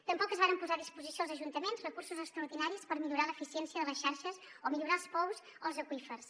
tampoc es varen posar a disposició dels ajuntaments recursos extraordinaris per millorar l’eficiència de les xarxes o millorar els pous o els aqüífers